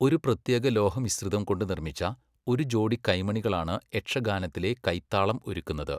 ഒരു പ്രത്യേക ലോഹമിശ്രിതം കൊണ്ട് നിർമ്മിച്ച, ഒരു ജോടി കൈമണികളാണ് യക്ഷഗാനത്തിലെ കൈത്താളം ഒരുക്കുന്നത്.